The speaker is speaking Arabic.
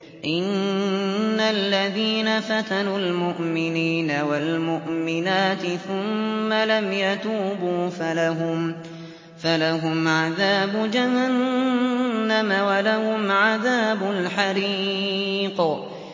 إِنَّ الَّذِينَ فَتَنُوا الْمُؤْمِنِينَ وَالْمُؤْمِنَاتِ ثُمَّ لَمْ يَتُوبُوا فَلَهُمْ عَذَابُ جَهَنَّمَ وَلَهُمْ عَذَابُ الْحَرِيقِ